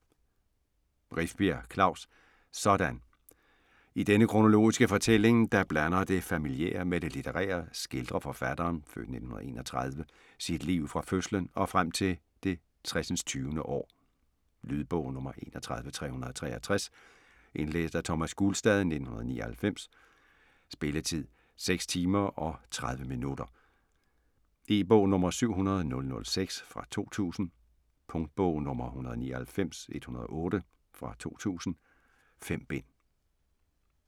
Rifbjerg, Klaus: Sådan I denne kronologiske fortælling der blander det familiære med det litterære, skildrer forfatteren (f. 1931) sit liv fra fødslen og frem til det tresindstyvende år. Lydbog 31363 Indlæst af Thomas Gulstad, 1999. Spilletid: 6 timer, 30 minutter. E-bog 700006 2000. Punktbog 199108 2000. 5 bind.